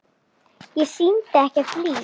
Án syndar er ekkert líf.